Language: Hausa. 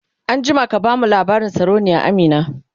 an jima ka bamu labarin sarauniya Amina!